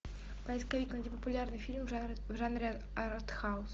поисковик найди популярный фильм в жанре арт хаус